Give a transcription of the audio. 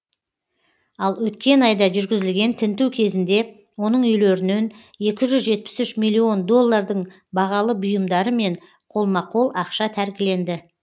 ал өткен айда жүргізілген тінту кезінде оның үйлерінен екі жүз жетпіс үш миллион доллардың бағалы бұйымдары мен қолма қол ақша тәркіленді